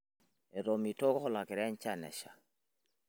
etomitoko olokira enjan esha